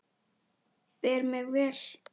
Bera mig vel?